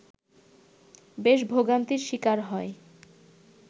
বেশী ভোগান্তির শিকার হয়